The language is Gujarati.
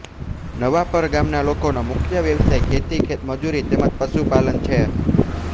નવાપરા ગામના લોકોનો મુખ્ય વ્યવસાય ખેતી ખેતમજૂરી તેમ જ પશુપાલન છે